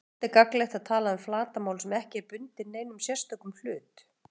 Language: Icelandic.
Oft er gagnlegt að tala um flatarmál sem ekki er bundið neinum sérstökum hlut.